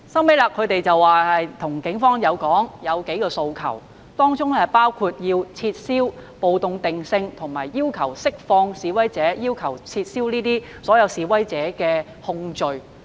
最後，他們向警方表達數項訴求，當中包括撤銷暴動罪定性，以及要求釋放示威者，要求撤銷示威者的控罪。